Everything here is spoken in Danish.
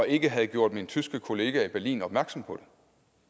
ikke havde gjort min tyske kollega i berlin opmærksom på